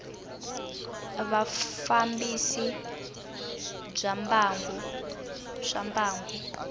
ya vufambisi bya swa mbangu